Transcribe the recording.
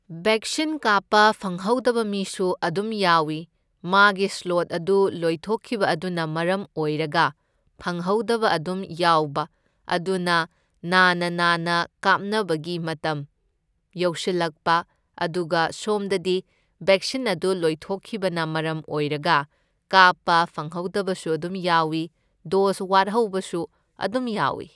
Vaccine ꯀꯥꯞꯄ ꯐꯪꯍꯧꯗꯕ ꯃꯤꯁꯨ ꯑꯗꯨꯝ ꯌꯥꯎꯢ, ꯃꯥꯒꯤ ꯁ꯭ꯂꯣꯠ ꯑꯗꯨ ꯂꯣꯏꯊꯣꯛꯈꯤꯕ ꯑꯗꯨꯅ ꯃꯔꯝ ꯑꯣꯔꯔꯒ ꯐꯪꯍꯧꯗꯕ ꯑꯗꯨꯝ ꯌꯥꯎꯕ, ꯑꯗꯨꯅ ꯅꯥꯅ ꯅꯥꯅ ꯀꯥꯞꯅꯕꯒꯤ ꯃꯇꯝ ꯌꯧꯁꯤꯜꯂꯛꯄ, ꯑꯗꯨꯒ ꯁꯣꯝꯗꯗꯤ ꯕꯦꯛꯁꯤꯟ ꯑꯗꯨ ꯂꯣꯏꯊꯣꯛꯈꯤꯕꯅ ꯃꯔꯝ ꯑꯣꯔꯔꯒ ꯀꯥꯞꯄ ꯐꯪꯍꯧꯗꯕꯁꯨ ꯑꯗꯨꯝ ꯌꯥꯎꯢ, ꯗꯣꯁ ꯋꯥꯠꯍꯧꯕꯁꯨ ꯑꯗꯨꯝ ꯌꯥꯎꯢ꯫